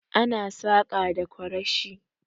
Ana saƙa da ƙwarashi